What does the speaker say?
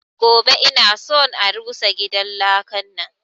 Gobe ina son a rusa gidan lakan nan!